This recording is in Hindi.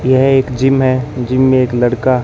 यह एक जिम है जिम में एक लड़का--